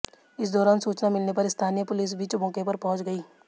इस दौरान सूचना मिलने पर स्थानीय पुलिस भी मौके पर पहुंच गई